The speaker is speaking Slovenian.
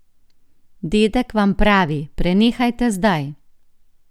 Dedek vam pravi, prenehajte zdaj!